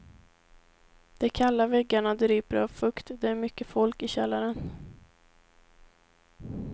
De kalla väggarna dryper av fukt, det är mycket folk i källaren.